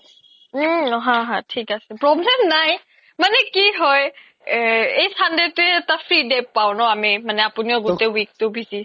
উম হা হা problem নাই মানে কি হয় এই sunday তোয়ে এটা free day পাও ন আমি মানে আপুনিও গুতেই week তো busy হয়